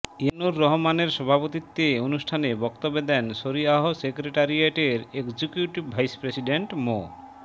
ইয়ানুর রহমানের সভাপতিত্বে অনুষ্ঠানে বক্তব্য দেন শরীআহ সেক্রেটারিয়েটের এক্সিকিউটিভ ভাইস প্রেসিডেন্ট মো